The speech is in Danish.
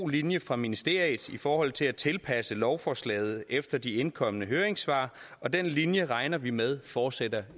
linje fra ministeriets side i forhold til at tilpasse lovforslaget efter de indkomne høringssvar og den linje regner vi med fortsætter